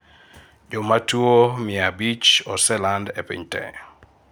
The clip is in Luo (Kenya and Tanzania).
jomatuwo mia abich oseland e piny te